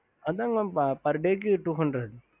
ஹம்